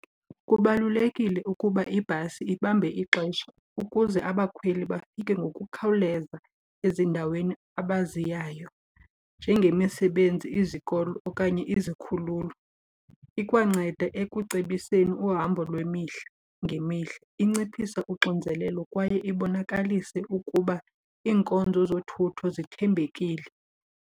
Kubalulekile ukuba ibhasi ibambe ixesha ukuze abakhweli bafike ngokukhawuleza ezindaweni abaziyayo njengemisebenzi, izikolo okanye izikhululo. Ikwanceda ekucebiseni uhambo lwemihla ngemihla, inciphise uxinzelelo kwaye ibonakalise ukuba iinkonzo zothutho zithembekile.